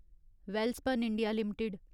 Welspun India limited